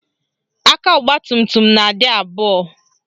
Aka ọgbatumtum na-adị abụọ